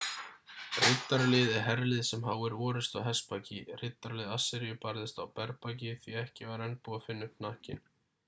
riddaralið er herlið sem háir orrustu á hestbaki riddaralið assýríu barðist á berbaki því ekki var enn búið að finna upp hnakkinn